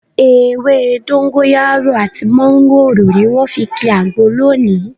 Ewé dógóńyárò àti mọ́ńgòrò ni wọ́n fi ki àgbo lónìí